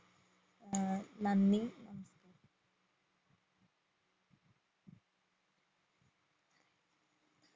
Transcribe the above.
ഏർ നന്ദി